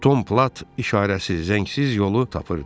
Tom Plat işarəsiz, zəngsiz yolu tapırdı.